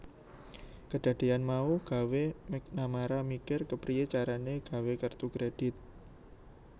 Kedadeyan mau gawé McNamara mikir kepriye carane gawé kertu kredit